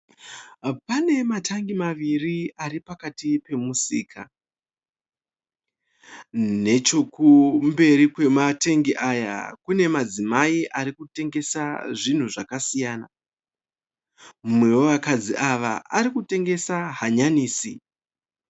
Pane matangi maviri aripakati pemusika . Nechekumberi kwematengi aya kune madzimai arikutengesa zvinhu zvakasiyana. Mumwe wevakadzi ava arikutengesa hanyanisi .